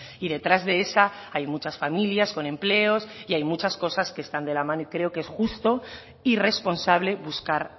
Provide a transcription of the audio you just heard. y detrás de esa hay muchas familias con empleos y hay muchas cosas que están de la mano y creo que es justo y responsable buscar